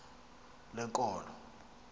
lenkolo